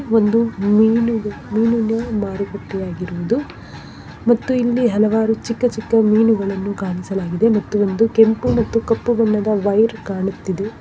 ಒಂದು ಮೀನುಗೆ ಮೀನಿನ ಮಾರುಕಟ್ಟೆ ಆಗಿರುವುದು ಮತ್ತು ಇಲ್ಲಿ ಹಲವಾರು ಚಿಕ್ಕ ಚಿಕ್ಕ ಮೀನುಗಳನ್ನು ಕಾಣಿಸಲಾಗಿದೆ ಮತ್ತು ಒಂದು ಕೆಂಪು ಮತ್ತು ಕಪ್ಪು ಬಣ್ಣದ ವೈರ್ ಕಾಣುತ್ತಿದೆ.